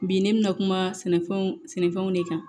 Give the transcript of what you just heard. Bi ne bɛ na kuma sɛnɛfɛnw sɛnɛfɛnw de kan